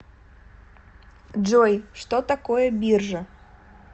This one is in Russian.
джой что такое биржа